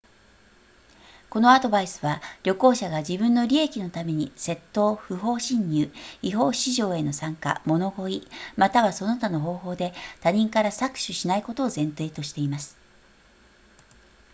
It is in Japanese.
このアドバイスは旅行者が自分の利益のために窃盗不法侵入違法市場への参加物乞いまたはその他の方法で他人から搾取しないことを前提としています